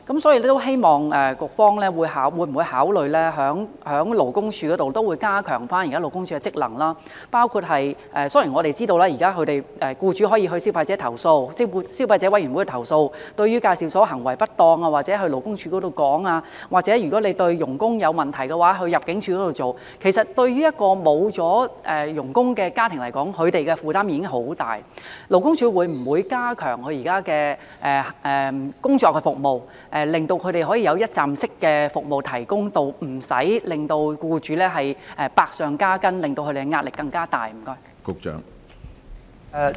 所以，局方會否考慮加強勞工處現時的職能，包括......雖然我們知道現時僱主可以向消費者委員會投訴，或者可就介紹所行為不當向勞工處投訴，又或者如果發現外傭有問題，可交由入境處處理，但其實對於一個沒有了外傭的家庭而言，他們的壓力其實相當大，勞工處會否加強其現時的工作，以提供一站式服務，讓僱主無需百上加斤，壓力更大？